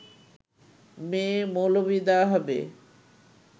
মেয়ে-মৌলবি দেওয়া হবে